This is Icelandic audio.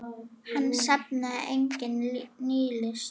Hann safnaði einnig nýlist.